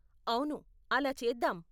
అవును, అలా చేద్దాం.